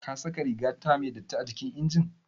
Kasaka rigata me datti acikin injin?